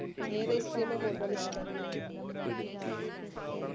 ഏത് Ice cream ആ കൂടുതലിഷ്ടം